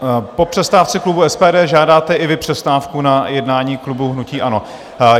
Po přestávce klubu SPD žádáte i vy přestávku na jednání klubu hnutí ANO.